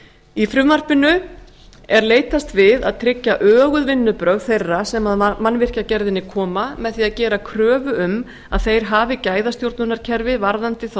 í frumvarpinu er leitast við að tryggja öguð vinnubrögð þeirra sem að mannvirkjagerðinni koma með því að gera kröfur um að þeir hafi gæðastjórnunarkerfi varðandi þá